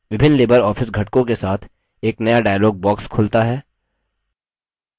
विभिन्न LibreOffice घटकों के साथ एक नया dialog box खुलता है